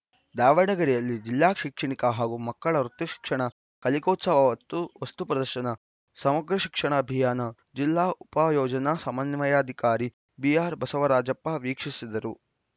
ದಾವಣಗೆರೆಯಲ್ಲಿ ಜಿಲ್ಲಾ ಶೈಕ್ಷಣಿಕ ಹಾಗೂ ಮಕ್ಕಳ ವೃತ್ತಿ ಶಿಕ್ಷಣ ಕಲಿಕೋತ್ಸವ ವಸ್ತು ಪ್ರದರ್ಶನ ಸಮಗ್ರ ಶಿಕ್ಷಣ ಅಭಿಯಾನ ಜಿಲ್ಲಾ ಉಪ ಯೋಜನಾ ಸಮನ್ವಯಾಧಿಕಾರಿ ಬಿಆರ್‌ಬಸವರಾಜಪ್ಪ ವೀಕ್ಷಿಸಿದರು